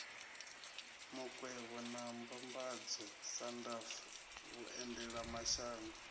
makwevho na mbambadzo sandf vhuendelamashango